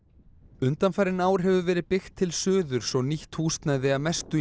undanfarin ár hefur verið byggt til suðurs og nýtt húsnæði að mestu í